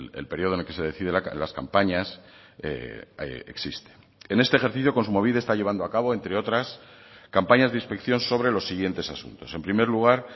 el periodo en el que se decide las campañas existe en este ejercicio kontxumobide está llevando a cabo entre otras campañas de inspección sobre los siguientes asuntos en primer lugar